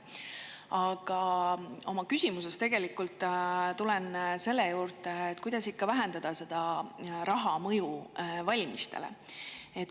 Aga oma küsimuses tulen selle juurde, et kuidas ikkagi vähendada raha mõju valimistele.